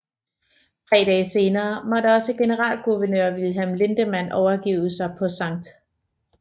Tre dage senere måtte også generalguvernør Wilhelm Lindemann overgive sig på Skt